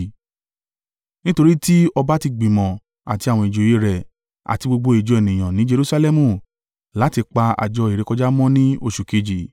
Nítorí tí ọba ti gbìmọ̀ àti àwọn ìjòyè rẹ̀, àti gbogbo ìjọ ènìyàn ní Jerusalẹmu, láti pa àjọ ìrékọjá mọ́ ní oṣù kejì.